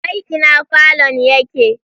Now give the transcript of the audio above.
Wai ina falon yake?